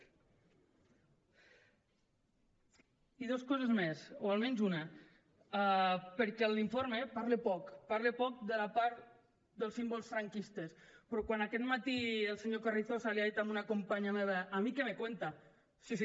i dos coses més o almenys una perquè l’informe parla poc parla poc de la part dels símbols franquistes però quan aquest matí el senyor carrizosa li ha dit a una companya meva a mí qué me cuenta sí sí